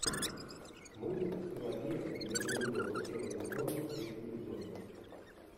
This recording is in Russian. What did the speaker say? мультик пелагея и белый бульдог первый сезон третий эпизод